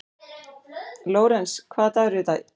Lórens, hvaða dagur er í dag?